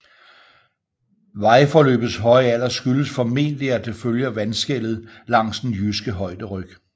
Vejforløbets høje alder skyldes formentlig at det følger vandskellet langs den Jyske højderyg